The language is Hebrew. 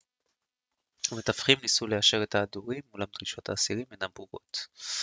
המתווכים ניסו ליישר את ההדורים אולם דרישות האסירים אינן ברורות